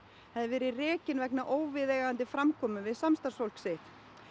hefði verið rekinn vegna óviðeigandi framkomu við samstarfsfólk sitt